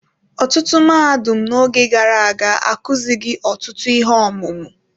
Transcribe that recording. Ọtụtụ mahadum n'oge gara aga akụzighi ọtụtụ ihe ọmụmụ.